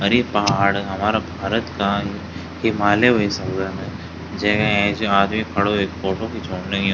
अर ये पहाड़ हमारा भारत का हिमालया वे सकदन जैका ऐंच आदमी खडू वेक फोटो खीचोण लग्युं।